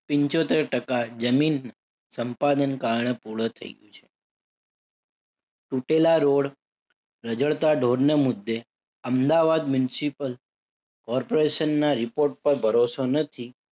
પંચોતેર ટકા જમીન સંપાદન કરવાનું પૂર્ણ થઇ ગયું છે. તૂટેલા રોડ, રઝળતા ઢોરને મુદ્દે અમદાવાદ municipal corporation ના report પર ભરોસો નથી.